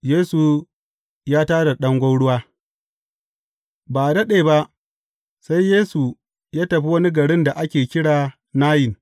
Yesu ya tā da ɗan gwauruwa Ba a daɗe ba, sai Yesu ya tafi wani garin da ake kira Nayin.